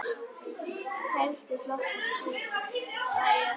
Helstu flokkar skipa eru